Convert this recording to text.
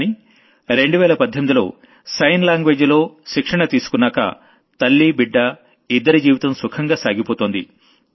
కానీ 2018లో sign language లో ట్రైనింగ్ తీసుకున్నాక తల్లీ బిడ్డా ఇద్దరి జీవితం సుఖంగా సాగిపోతోంది